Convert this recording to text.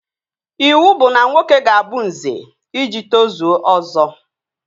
Iwu bụ na nwoke ga-abụ Nze iji tozuo Ọzọ